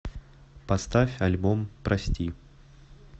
поставь альбом прости